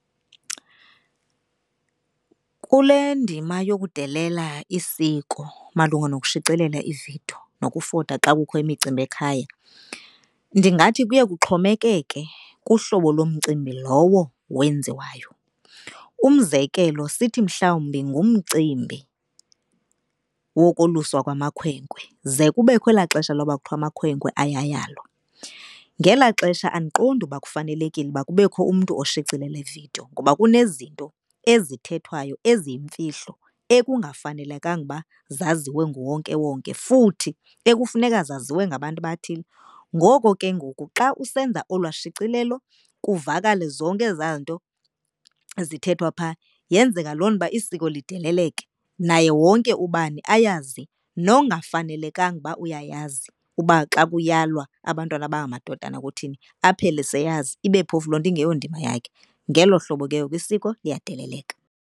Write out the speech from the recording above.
Kule ndima yokudelela isiko malunga nokushicilela ividiyo nokufota xa kukho imicimbi ekhaya ndingathi kuye kuxhomekeke kuhlobo lomcimbi lowo wenziwayo. Umzekelo, sithi mhlawumbi ngumcimbi wokoluswa kwamakhwenkwe, ze kubekho elaa xesha loba kuthiwa amakhwenkwe ayayalwa, ngelaa xesha andiqondi uba kufanelekile uba kubekho umntu oshicilela ividiyo. Ngoba kunezinto ezithethwayo eziyimfihlo ekungafanelekanga ukuba zaziwe nguwonkewonke futhi ekufuneka zaziwe ngabantu abathile. Ngoko ke ngoku xa usenza olwaa shicilelo kuvakale zonke ezaa nto zithethwa phaa yenza loo nto uba isiko lideleleke. Naye wonke ubani ayazi nongafanelekanga uba uyayazi uba xa kuyalwa abantwana abangamadodana kuthini aphele seyazi. Ibe phofu loo nto ingeyondima yakhe. Ngelo hlobo ke ngoku isiko liyadeleleka.